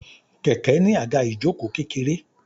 Kẹ̀kẹ́ ní àga ìjoko kékeré.